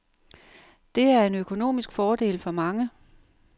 Det er en økonomisk fordel for mange.